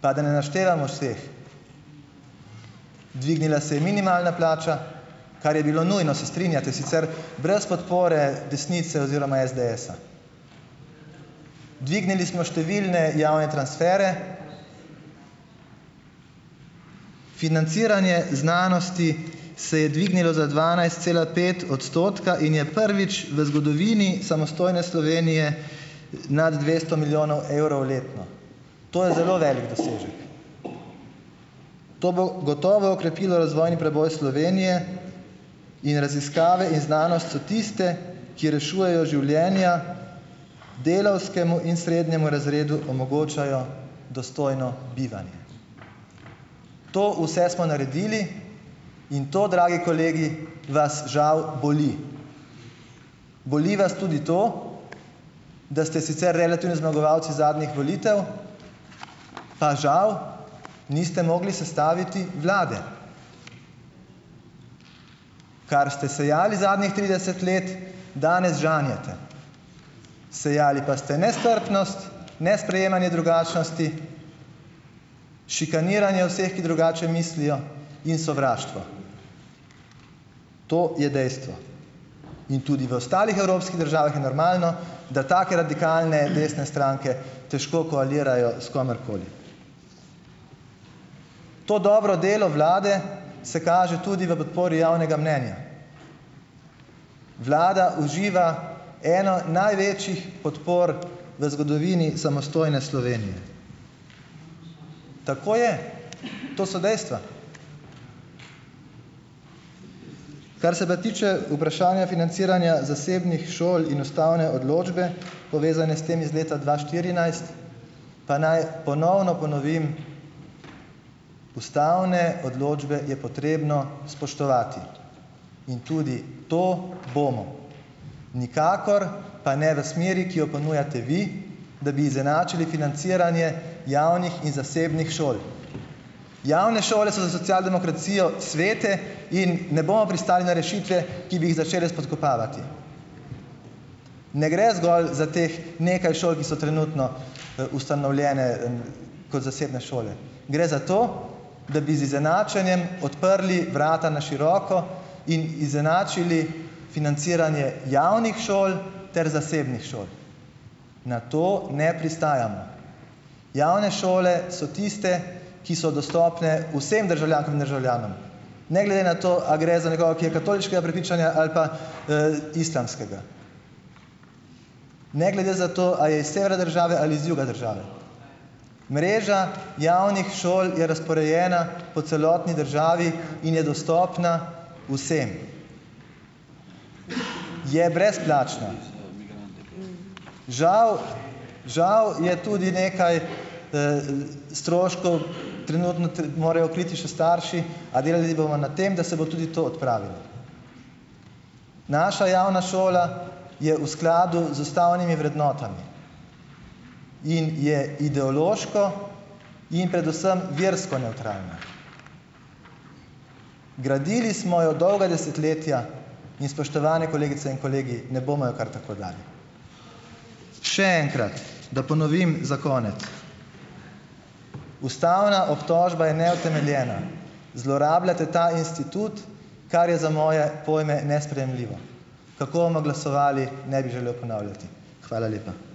Pa da ne naštevamo vseh. Dvignila se je minimalna plača, kar je bilo nujno, se strinjate, sicer brez podpore desnice oziroma SDS-a. Dvignili smo številne javne transfere, financiranje znanosti se je dvignilo za dvanajst cela pet odstotka in je prvič v zgodovini samostojne Slovenije nad dvesto milijonov evrov letno. To je zelo veliko dosežek, to bo gotovo okrepilo razvojni preboj Slovenije, in raziskave in znanost so tiste, ki rešujejo življenja, delavskemu in srednjemu razredu omogočajo dostojno bivanje. To vse smo naredili, in to, dragi kolegi, vas, žal, boli. Boli vas tudi to, da ste sicer relativni zmagovalci zadnjih volitev, pa žal niste mogli sestaviti vlade. Kar ste sejali zadnjih trideset let, danes žanjete. Sejali pa ste nestrpnost, nesprejemanje drugačnosti, šikaniranje vseh, ki drugače mislijo, in sovraštvo. To je dejstvo. In tudi v ostalih evropskih državah je normalno, da take radikalne desne stranke težko koalirajo s komerkoli. To dobro delo vlade se kaže tudi v podpori javnega mnenja: Vlada uživa eno največjih podpor v zgodovini samostojne Slovenije. Tako je, to so dejstva. Kar se pa tiče vprašanja financiranja zasebnih šol in ustavne odločbe, povezane s tem, iz leta dva štirinajst, pa naj ponovno ponovim, ustavne odločbe je potrebno spoštovati, in tudi to bomo. Nikakor pa ne v smeri, ki jo ponujate vi, da bi izenačili financiranje javnih in zasebnih šol. Javne šole so za socialdemokracijo svete in ne bomo pristali na rešitve, ki bi jih začele spodkopavati. Ne gre zgolj za teh nekaj šol, ki so trenutno, ustanovljene, kot zasebne šole, gre za to, da bi z izenačenjem odprli vrata na široko in izenačili financiranje javnih šol ter zasebnih šol. Na to ne pristajamo. Javne šole so tiste, ki so dostopne vsem državljankam in državljanom, ne glede na to, a gre za nekoga, ki je katoliškega prepričanja ali pa, islamskega. Ne glede za to, a je iz severa države ali iz juga države. Mreža javnih šol je razporejena po celotni državi in je dostopna vsem. Je brezplačna. Žal, žal je tudi nekaj, stroškov, trenutno morajo kriti še starši, a delali bomo na tem, da se bo tudi to odpravilo. Naša javna šola je v skladu z ustavnimi vrednotami in je ideološko in predvsem versko nevtralna. Gradili smo jo dolga desetletja in, spoštovane kolegice in kolegi, ne bomo je kar tako dali. Še enkrat da ponovim za konec: ustavna obtožba je neutemeljena, zlorabljate ta institut, kar je za moje pojme nesprejemljivo. Kako bomo glasovali, ne bi želel ponavljati. Hvala lepa.